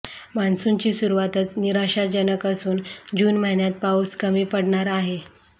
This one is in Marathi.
मान्सूनची सुरुवातच निराशाजनक असून जून महिन्यात पाऊस कमी पडणार आहे